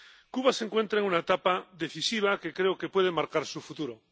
Cuba se encuentra en una etapa decisiva, que creo que puede marcar su futuro.